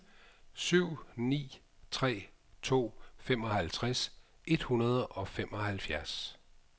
syv ni tre to femoghalvtreds et hundrede og femoghalvfjerds